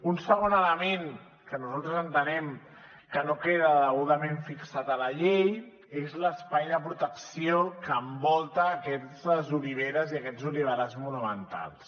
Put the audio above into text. un segon element que nosaltres entenem que no queda degudament fixat a la llei és l’espai de protecció que envolta aquestes oliveres i aquests oliverars monumentals